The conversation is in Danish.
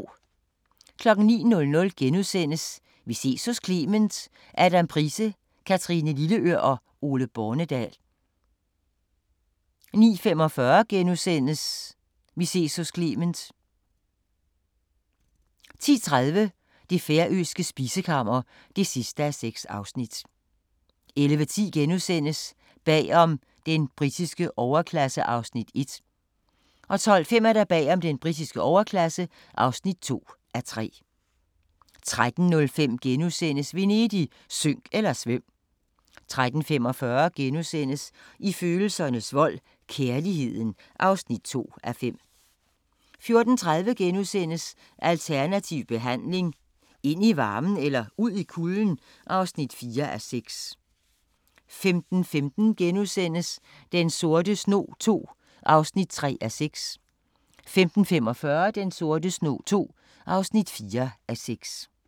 09:00: Vi ses hos Clement: Adam Price, Kathrine Lilleør og Ole Bornedal * 09:45: Vi ses hos Clement * 10:30: Det færøske spisekammer (6:6) 11:10: Bag om den britiske overklasse (1:3)* 12:05: Bag om den britiske overklasse (2:3) 13:05: Venedig – synk eller svøm! * 13:45: I følelsernes vold – Kærligheden (2:5)* 14:30: Alternativ behandling – ind i varmen eller ud i kulden? (4:6)* 15:15: Den sorte snog II (3:6)* 15:45: Den sorte snog II (4:6)